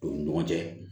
U ni ɲɔgɔn cɛ